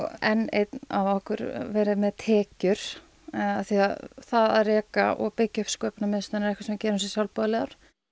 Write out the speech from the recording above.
enn einn af okkur verið með tekjur því það að reka og byggja upp sköpunarmiðstöðina er eitthvað sem við gerum sem sjálfboðaliðar